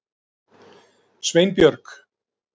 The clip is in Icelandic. Sveinbjörg